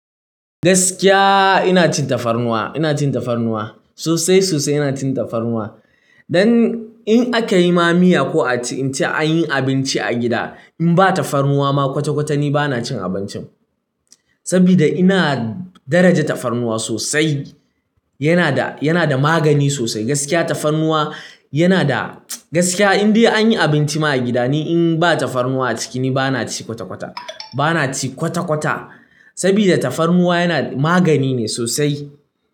Gaskiya ina cin tafarnuwa, ina cin tafarnuwa sosai sosai ina cin tafarnuwa. Don in aka yi ma miya ko a ce an yi abinci a gida, in ba tafarnuwa ma kwata-kwata ni ba na cin abincin. Saboda ina daraja tafarnuwa sosai. Yana da, yana da magani sosai. Gaskiya tafarnuwa yana da, gaskiya in dai anyi abinci ma a gida ni in ba tafarnuwa a ciki ni ba na ci kwata-kwata. Ba na ci kwata-kwata saboda tafarnuwa yana magani ne sosai.